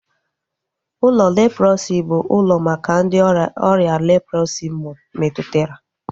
Ụlọ leprọsi bụ ụlọ maka ndị ọrịa leprọsi metụtara